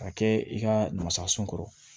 A kɛ i ka masalasun kɔrɔ